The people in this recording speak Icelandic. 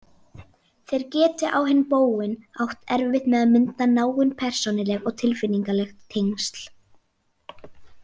Þeir geti á hinn bóginn átt erfitt með að mynda náin persónuleg og tilfinningaleg tengsl.